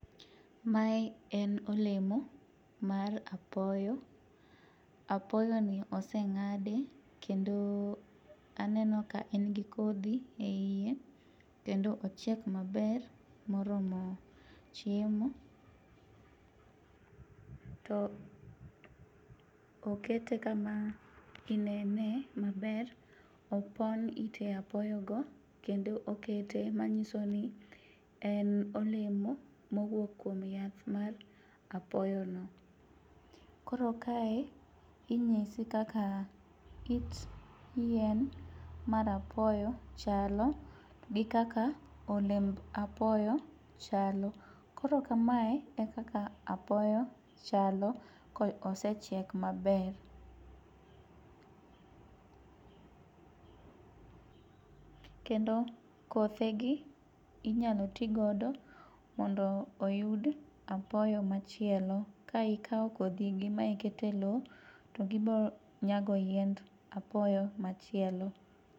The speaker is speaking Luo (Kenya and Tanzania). Mae en olemo mar apoyo, apoyoni oseng'adi kendo aneno ka en gi kodhi e iye. Kendo ochiek maber moromo chiemo to okete kama inene maber, opon ite apoyogo kendo okete manyiso ni en olemo mowuok kuom yath mar apoyono. Koro kae, inyisi kaka it yien mar apoyo chalo gi kaka olemb apoyo chalo. Koro kamae e kaka apoyo chalo kosechiek maber. Kendo kothegi inyalo ti godo mondo oyud apoyo machielo. Ka ikawo kodhigi ma iketo e lo, to gibiro nyago yiend apoyo machielo.